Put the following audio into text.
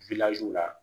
la